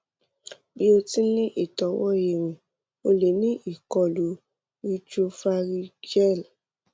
bi o ti n ni itọwo irin o le ni ikolu cs] retropharyngeal